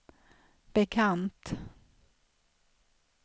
bekant